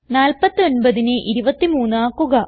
49നെ 23 ആക്കുക